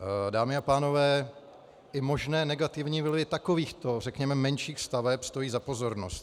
Dámy a pánové, i možné negativní vlivy takovýchto, řekněme, menších staveb stojí za pozornost.